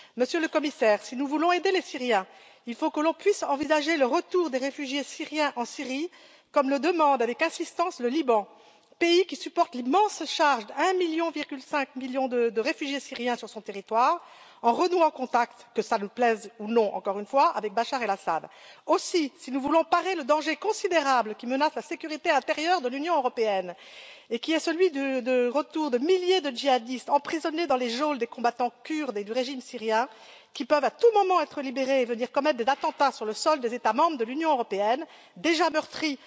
Monsieur le Commissaire, si nous voulons aider les Syriens, il faut qu'on puisse envisager le retour des réfugiés syriens en Syrie comme demandé avec insistance par le Liban, qui supporte l'immense charge de 1,5 million de réfugiés syriens sur son territoire, et renouer contact, que cela nous plaise ou non encore une fois avec Bachar El Assad. Aussi, si nous voulons parer le danger considérable qui menace la sécurité intérieure de l'Union européenne et qui est celui du retour de milliers de djihadistes emprisonnés dans les geôles des combattants kurdes et du régime syrien, qui peuvent à tout moment être libérés et venir commettre des attentats sur le sol des États membres de l'Union européenne, déjà meurtrie